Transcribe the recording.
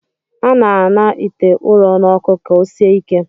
A na-aṅa ite ụrọ n'ọkụ ka o sie ike